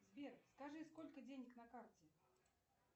сбер скажи сколько денег на карте